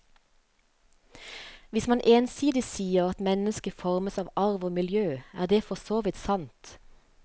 Hvis man ensidig sier at mennesket formes av arv og miljø, er det forsåvidt sant.